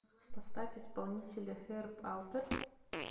поставь исполнителя херб алперт